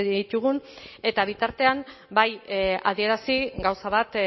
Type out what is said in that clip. ditugun eta bitartean bai adierazi gauza bat